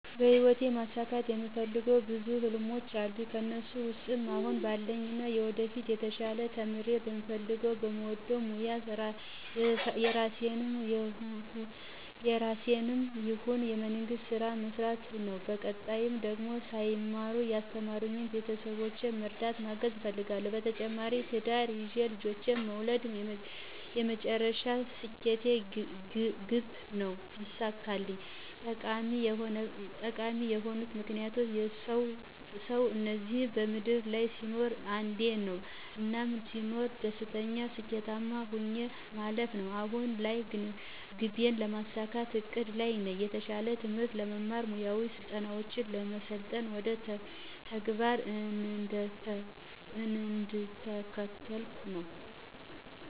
በሂወቴ ማሳካት የምፈልገው ብዙ ህልሞች አሉኝ ከእነሱ ውስጥ አሁን ባለኝና ወደፊት የተሻለ ተምሬ በምፈልገው በምወደው ሞያ የራሴንም ይሁን የመንግስት ስራ መስራት ነው በቀጣይ ደግሞ ሳይማሩ ያስተማሩኝን ቤተሰቦቼን መርዳት ማገዝ እፈልጋለሁ። በተጨማሪም ትዳር ይዤ ልጆችን መውለድ የመጨረሻ ስኬት ግቤ ነው ቢሳካልኝ። ጠቃሚ የሆነበት ምክንያት፦ ሰው እዚህ ምድር ላይ ሲኖር አንዴ ነው። እናም ስኖር ደስተኛና ስኬታማ ሆኜ ማለፍ ነው። አሁን ላይ ግቤን ለማሳካት እቅድ ላይ ነኝ። የተሻለ ትምህርት ለመማር፣ ሙያዊ ስልጠናውችን ለመሰልጠን ወደ ተግባር እየተንደረደርኩ ነው።